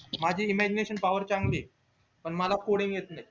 imagination power चांगली ये पण मला coding येत नई